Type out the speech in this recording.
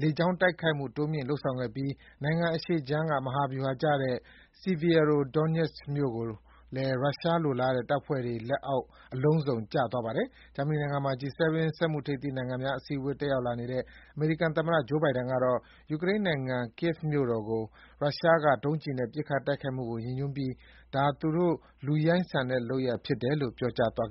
လေကြောင်းတိုက်ခိုက်မှု တိုးမြှင့်လုပ်ဆောင်ခဲ့ပြီး နိုင်ငံအရှေ့ုခြမ်းက မဟာဗျူဟာကျတဲ့ Sievierodonetsk မြို့လည်း ရုရှားလိုလားတဲ့ တပ်ဖွဲ့တွေလက်အောက် အလုံးစုံ ကျသွားတာပါ။ ဂျာမနီနိုင်ငံမှာ G7 စက်မှုထိပ်သီးနိုင်ငံများအစည်းအဝေး တက်ရောက်လာတဲ့ အမေရိကန်သမ္မတ ဂျိုးဘိုင်ဒန်ကတော့ ယူကရိန်းနိုင်ငံ ကီးယက်ဗ်မြို့တော်ကို ရုရှားက ဒုံးကျည်နဲ့ ပစ်ခတ်တိုက်ခိုက်မှုကို ရည်ညွှန်းပြီး “ဒါ သူတို့ လူရိုင်းဆန်ဆန်လုပ်တာပဲ” လို့ ပြောသွား